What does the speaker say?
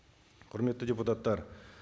құрметті депутаттар